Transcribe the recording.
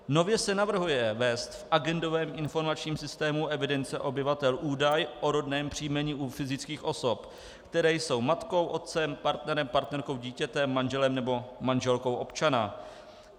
Nově se navrhuje vést v agendovém informačním systému evidence obyvatel údaj o rodném příjmení u fyzických osob, které jsou matkou, otcem, partnerem, partnerkou, dítětem, manželem nebo manželkou občana.